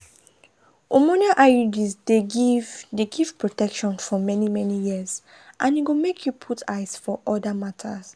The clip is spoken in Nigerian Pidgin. hormonal iuds dey give dey give protection for many-many years and e go make you put eyes for other matters.